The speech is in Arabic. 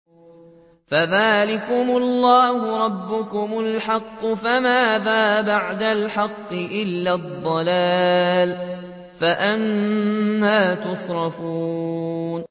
فَذَٰلِكُمُ اللَّهُ رَبُّكُمُ الْحَقُّ ۖ فَمَاذَا بَعْدَ الْحَقِّ إِلَّا الضَّلَالُ ۖ فَأَنَّىٰ تُصْرَفُونَ